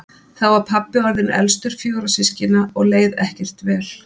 Þá var pabbi orðinn elstur fjögurra systkina og leið ekkert vel.